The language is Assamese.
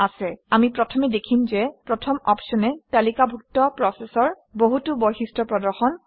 আমি প্ৰথমে দেখিম যে প্ৰথম অপশ্যনে তালিকাভুক্ত প্ৰচেচৰ বহুতো বৈশিষ্ট্য প্ৰদৰ্শন কৰে